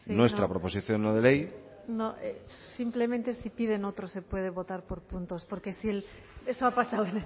nuestra proposición no de ley no simplemente si piden otros se puede votar por puntos porque eso ha pasado